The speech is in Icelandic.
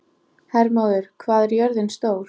Hermóður, hvað er jörðin stór?